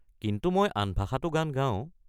কিন্তু মই আন ভাষাটো গান গাওঁ।